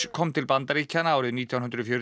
kom til Bandaríkjanna árið nítján hundruð fjörutíu